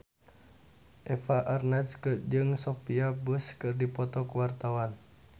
Eva Arnaz jeung Sophia Bush keur dipoto ku wartawan